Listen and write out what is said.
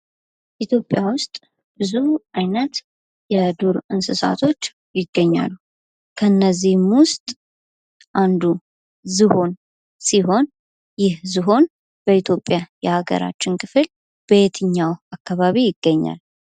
ኢትዮጵያ ውስጥ ብዙ አይነት የዱር እንስሳቶች ይገኛሉ። ከነዚህም ወስጥ አንዱ ዝሆን ሲሆን ይህ ዝሆን በኢትዮጵያ የሀገራችን ክፍል በየትኛውም አከባቢ ይገኛል።